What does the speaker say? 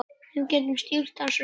Við getum stýrt þessu sjálf.